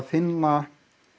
finna